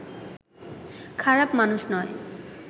খারাপ মানুষ নয়